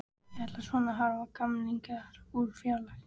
Ég ætla svona að horfa á gamlingjana úr fjarlægð.